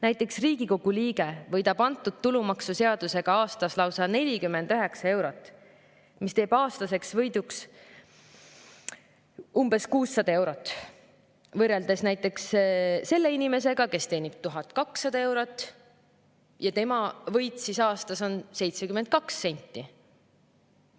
Näiteks Riigikogu liige võidab antud tulumaksuseadusega lausa 49 eurot, mis teeb aastaseks võiduks umbes 600 eurot, võrreldes näiteks selle inimesega, kes teenib 1200 eurot ja kelle võit aastas on 72 senti.